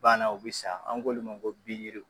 Bana o bi sa an k'olu ma ko pigiriw